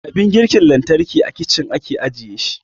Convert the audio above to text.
Abin girki lantarki a kicin ake ajiye shi